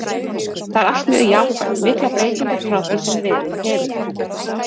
Það er allt mjög jákvætt, miklar breytingar frá því sem verið hefur.